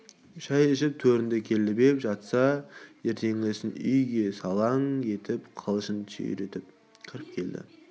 шай ішіп төрінде көлбеп жатса ертеңгісін үйге салаң етіп қылышын сүйретіп кіріп келді